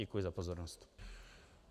Děkuji za pozornost.